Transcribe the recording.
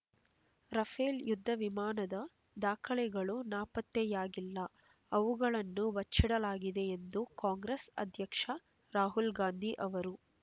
Rafale ಯುದ್ಧ ವಿಮಾನದ ದಾಖಲೆಗಳು ನಾಪತ್ತೆಯಾಗಿಲ್ಲ ಅವುಗಳನ್ನು ಬಚ್ಚಿಡಲಾಗಿದೆ ಎಂದು ಕಾಂಗ್ರೆಸ್ ಅಧ್ಯಕ್ಷ ರಾಹುಲ್ ಗಾಂಧಿ ಅವರು